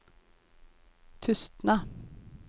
Tustna